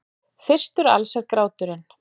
Fyrstur alls er gráturinn.